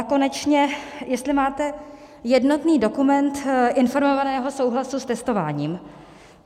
A konečně, jestli máte jednotný dokument informovaného souhlasu s testováním.